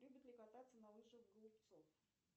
любит ли кататься на лыжах голубцов